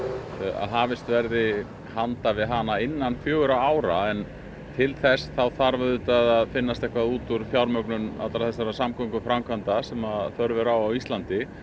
að hafist verði handa við hana innan fjögurra ára en til þess þarf auðvitað að finnast eitthvað út úr fjármögnun allra þessara samgönguframkvæmda sem þörf er á á Íslandi